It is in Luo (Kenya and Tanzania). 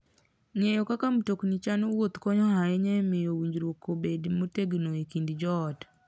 Ng'eyo kaka mtokni chano wuoth konyo ahinya e miyo winjruok obed motegno e kind joot.